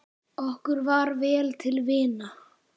Okkur var vel til vina.